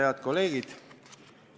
Head kolleegid!